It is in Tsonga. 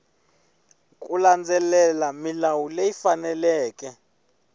ku landzelela milawu leyi faneleke